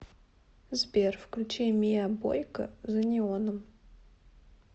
сбер включи миа бойка за неоном